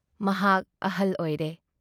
ꯃꯍꯥꯛ ꯑꯍꯜ ꯑꯣꯏꯔꯦ꯫